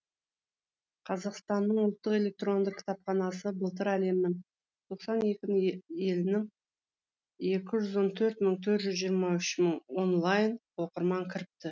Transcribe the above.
қазақстанның ұлттық электронды кітапханасы былтыр әлемнің тоқсан екі елініңекі жүз он төрт мың жүз жиырма үш мың онлайн оқырман кіріпті